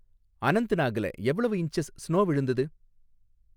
அனந்த்நாக்ல எவ்வளவு inches snow விழுந்துது?